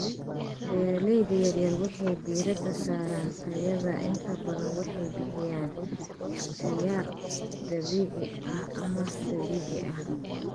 Beeralayda yar yar waxay diiradda saaraan tayada, inta badan waxay bixiyaan ikhtiyaar dabiici ah ama dabiici ah.